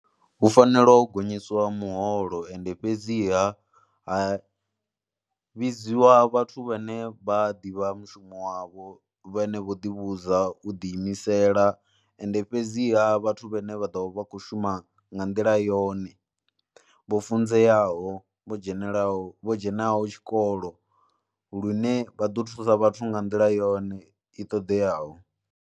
Hu fanela u gonyiswa muholo ende fhedziha ha vhidziwa vhathu vhane vha ḓivha mushumo wavho vhane vho ḓivhudza u ḓiimisela ende fhedziha vhathu vhane vha ḓo vha kho shuma nga nḓila yone, vho funzeaho, vho dzhenaho, vho dzhenaho tshikolo lune vha ḓo thusa vhathu nga nḓila yone i ṱoḓeaho.